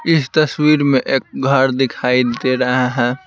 इस तस्वीर में एक घर दिखाई दे रहा है।